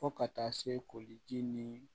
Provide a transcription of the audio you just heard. Fo ka taa se koliji ni